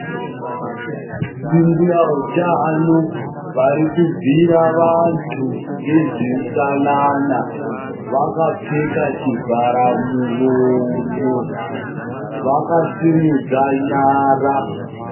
Ndimbuya utano, vari kubhuyira vantu ngezveutsanana, vakapfeka chivharamuromo, vakasimudza nyara.